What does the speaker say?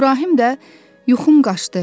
İbrahim də yuxum qaşdı.